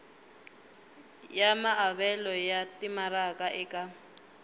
ya maavelo ya timaraka eka